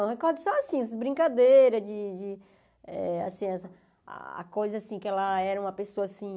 Eu recordo só, assim, as brincadeira de de assim as... A coisa, assim, que ela era uma pessoa, assim...